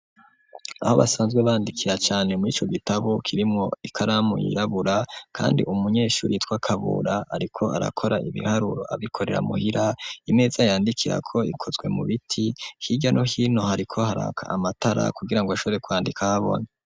Aho basanzwe bandikira cane muri ico gitabo kirimwo ikaramu yirabura, kandi umunyeshuri yitwa Kabura ariko arakora ibiharuro abikorera muhira, imeza yandikirako ikozwe mubiti, hirya no hino hariko haraka amatara kugirango ashobore kwandika ahabona.